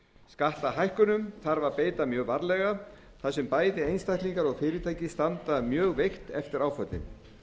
skattahækkunum þarf að beita mjög varlega þar sem bæði einstaklingar og fyrirtæki standa mjög veikt eftir áföllin